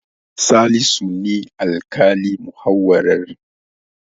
Salisu ne alƙalin muhawarar.